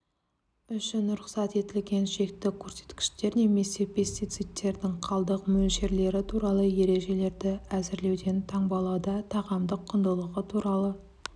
үшін рұқсат етілген шекті көрсеткіштер немесе пестицидтердің қалдық мөлшерлері туралыережелерді әзірлеуден таңбалауда тағамдық құндылығы туралы